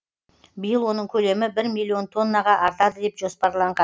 биыл оның көлемі бір миллион тоннаға артады деп жоспарланған